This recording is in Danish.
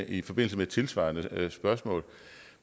i forbindelse med et tilsvarende spørgsmål